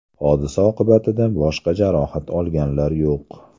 Hodisa oqibatida boshqa jarohat olganlar yo‘q.